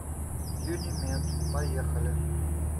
юнимед поехали